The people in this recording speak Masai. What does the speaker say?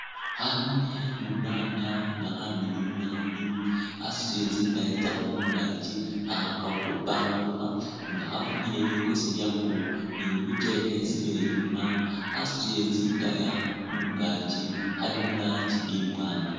Khanyunyi khe mwibanga nga khamiliyu naabi khasutile tsindaaya tsaakho mungaakyi kha khakhakakho khupambulukha nga khafunyile likoosi lyakho ni bikyele khesiile inyuma khasutile tsindaaya mungaakyi khali mulangi imwaanga.